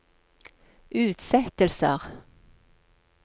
utsettelser